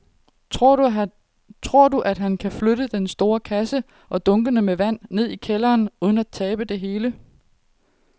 Tror du, at han kan flytte den store kasse og dunkene med vand ned i kælderen uden at tabe det hele?